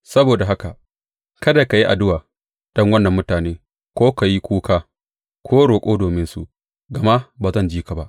Saboda haka kada ka yi addu’a don wannan mutane ko ka yi wani kuka ko roƙo dominsu, gama ba zan ji ka ba.